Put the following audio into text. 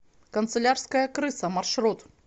канцелярская крыса маршрут